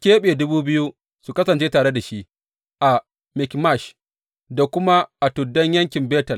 Ya keɓe dubu biyu su kasance tare da shi a Mikmash da kuma a tuddan yankin Betel.